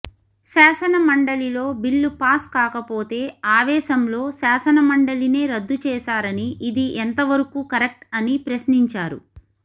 శాసనమండలిలో bill pass కాకపోతే ఆవేశంలో శాసనమండలినే రద్దు చేశారని ఇది ఎంతవరకు కరెక్ట్ అని ప్రశ్నించారు